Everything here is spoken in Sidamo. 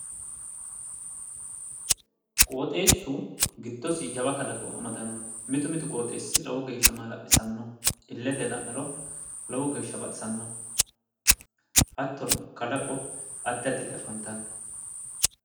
qooxeessu giddosi jawa kalaqo amadanno mitu mitu qooxeessi lowo geeeshsha maala'lisanno illete la'niro lowo geeshsha baxisanno hatto kalaqo addi additi afantanno